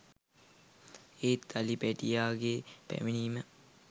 ඒත් අලි පැටියාගේ පැමිණීම